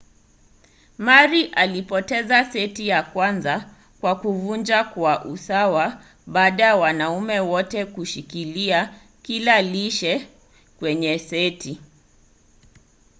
murray alipoteza seti ya kwanza kwa kuvunjwa kwa usawa baada ya wanaume wote kushikilia kila lishe kwenye seti